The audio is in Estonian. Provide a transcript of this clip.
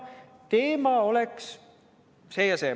Öeldi, et teema on see ja see.